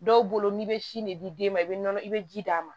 Dɔw bolo n'i bɛ sin de di den ma i bɛ nɔnɔ i bɛ ji d'a ma